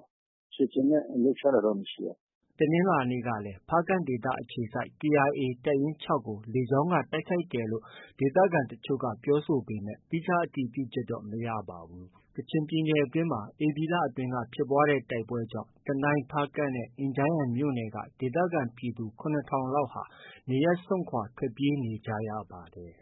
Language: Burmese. ။ ခြေလျင်နဲ့ လှုပ်ရှားတာတော့ မရှိပါဘူး။ ” တနင်္လာနေ့ကလည်း ဖားကန့်ဒေသ အခြေစိုက် KIA တပ်ရင်း ၆ကို လေကြောင်းက တိုက်ခိုက်တယ်လို့ ဒေသခံတချို့က ပြောပေမဲ့ သီးခြားအတည်ပြုချက်တော့ မရပါဘူး။ ကချင်ပြည်နယ်အတွင်းမှာ ဧပြီလအတွင်းက ဖြစ်ပွားတဲ့ တိုက်ပွဲတွေကြောင့် တနိုင်း၊ ဖားကန့်နဲ့ အင်ဂျန်းယန်မြို့နယ်က ဒေသခံပြည်သူ ၇ထောင်လောက်ဟာ နေရပ်စွန့်ခွာ ထွက်ပြေးနေရပါတယ်။